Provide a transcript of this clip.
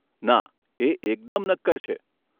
ના, એ એકદમ નક્કર છે.